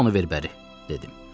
Onda onu ver bəri, dedim.